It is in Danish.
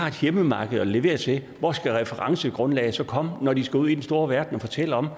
hjemmemarked at levere til hvor skal referencegrundlaget så komme fra når de skal ud i den store verden og fortælle om